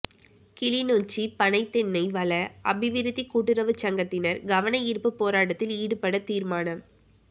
கிளிநொச்சி பனை தென்னை வள அபிவிருத்திக் கூட்டுறவுச் சங்கத்தினர் கவனயீர்ப்பு போராட்டத்தில் ஈடுபட தீர்மானம்